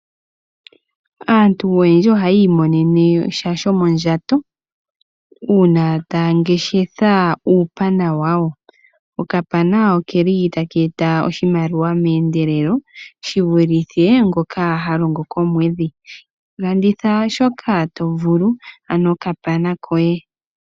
Aantu ohaya mono sha shomondjato uuna taya ngeshefa uupana wawo. Okapana okeli taka eta oshimaliwa meendelelo shi vulithe ngoka ha longo komwedhi. Landitha shoka to vulu ano okapana koye.